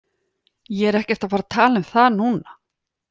Ég er ekkert að fara að tala um það núna.